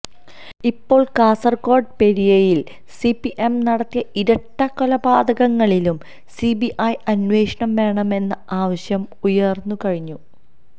ഇപ്പോൾ കാസർകോട് പെരിയയിൽ സിപിഎം നടത്തിയ ഇരട്ടക്കൊലപാതകങ്ങളിലും സിബിഐ അന്വേഷണം വേണമെന്ന ആവശ്യം ഉയർന്നു കഴിഞ്ഞു